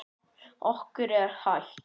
Okkur er heitt.